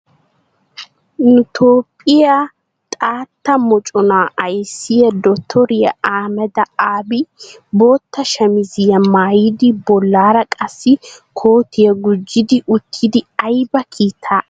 Nu toophphiya xaatta moconaa ayissiya dotoriya ahmeda abi bootta shamiziya mayyidi bollaara qassi kootiya gujjidi uttidi ayiba kiitaa aattiiddi dii? A guyyen diyaabay ayibee?